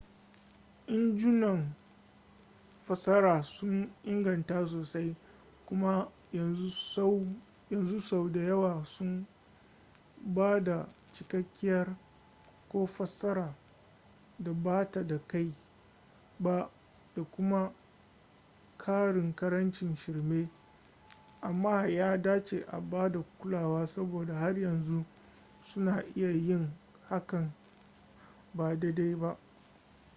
injunan fassara sun inganta sosai kuma yanzu sau da yawa suna ba da cikakkiyar ko fassara da ba ta kai ba da kuma ƙarin ƙarancin shirme amma ya dace a bada kulawa saboda har yanzu suna iya yin hakan ba daidai ba